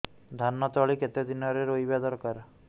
ଧାନ ତଳି କେତେ ଦିନରେ ରୋଈବା ଦରକାର